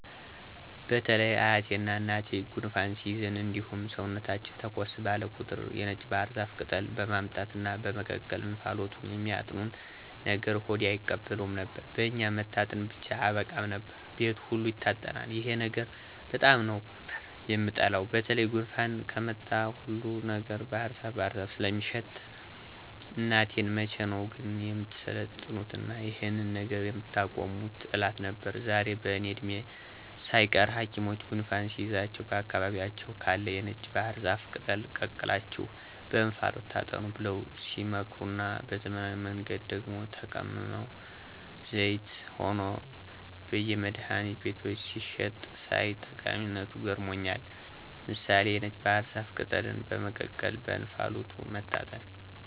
በተለይ አያቴና እናቴ ጉንፋን ሲይዘን እንዲሁም ሰውነታችን ተኮስ ባለ ቁጥር የነጭ ባህር ዛፍ ቅጠል በማምጣት እና በመቀቀል እንፋሎቱን የሚያጥኑን ነገር ሆዴ አይቀበለውም ነበር። በኛ መታጠን ብቻ አያበቃም ነበር፤ ቤቱ ሁሉ ይታጠናል። ይሄን ነገር በጣም ነበር የምጠላው በተለይ ጉንፋን ከመጣ ሁሉ ነገር ባህርዛፍ ባህር ዛፍ ስለሚሸተኝ እናቴን መቼ ነው ግን የምትሰለጥኑትና ይሄንን ነገር የምታቆሙት እላት ነበር። ዛሬ በእኔ እድሜ ሳይቀር ሀኪሞች ጉንፋን ሲይዛችሁ በአካባቢያችሁ ካለ የነጭ ባህር ዛፍ ቅጠል ቀቅላችሁ በእንፋሎቱ ታጠኑ ብለው ሲመክሩና በዘመናዊ መንገድ ደግሞ ተቀምሞና ዘይት ሆኖ በየመድሀኒት ቤቶች ሲሸጥ ሳይ ጠቀሚነቱ ገርሞኛል። ምሳሌ(የነጭ ባህር ዛፍ ቅጠልን በመቀቀልና በእንፋሎቱ መታጠን)